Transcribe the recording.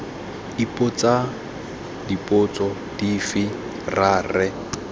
ipotsa dipotso dife ra re